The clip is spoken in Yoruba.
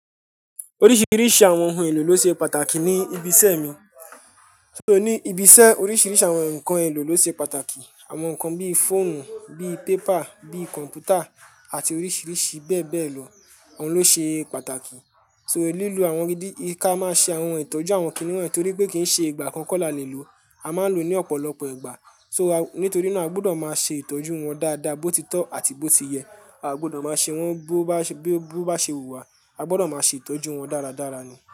Oríṣiríṣi àwọn ǹkan èlò ló ṣe pàtàkì ní ibi iṣẹ́ mi. Ó ní ibi iṣẹ́ oríṣiríṣi àwọn ǹkan èlò ló ṣe pàtàkì. Àwọn ǹkan bíí fóònù, bíí pépà, bíí kọ̀m̀pútà àti oríṣiríṣi bẹ́ẹ̀ bẹ́ẹ̀ lọ, òun ló ṣe pàtàkì. So lílo àwọn ìdí ká máa ṣe àwọn ìtọ́jú àwọn kìnìún torí pé kì í ṣe ìgbà kan kọ́ là lè lò, a máa lò ó ní ọ̀pọ̀lọpọ̀ ìgbà. So, nítorí náà a gbọ́dọ̀ máa ṣe ìtọ́jú wọn dáadáa bó ti tọ́ àti bó ti yẹ. A gbọ́dọ̀ máa ṣe wọ́n bó bá ṣe wù wá, a gbọ́dọ̀ máa ṣe ìtọ́jú wọn dáradára ni.